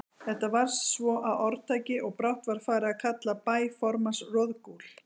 Þetta varð svo að orðtaki, og brátt var farið að kalla bæ formanns Roðgúl.